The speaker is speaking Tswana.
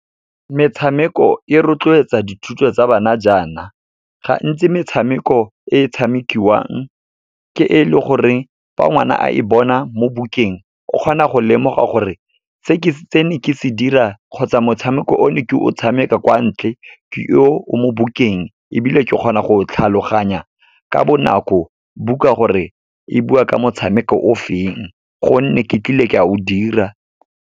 Metshameko e rotloetsa dithuto tsa bana jaana, gantsi metshameko e tshamekiwang ke e leng gore fa ngwana a e bona mo bukeng o kgona go lemoga gore, se ke ne ke se dira kgotsa motshameko o ne ke o tshameka kwa ntle, ke o, o mo bukeng, ebile ke kgona go tlhaloganya ka bonako buka gore e bua ka motshameko o feng, gonne ke tlile ka o dira.